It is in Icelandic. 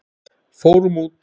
Fórum út!